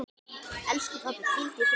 Elsku pabbi, hvíldu í friði.